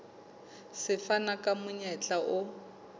se fana ka monyetla o